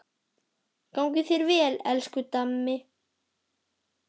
Gangi þér vel, elsku Dammi.